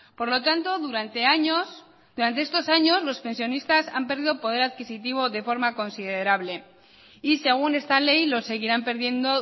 por lo tanto durante años durante estos años los pensionistas han perdido poder adquisitivo de forma considerable y según esta ley lo seguirán perdiendo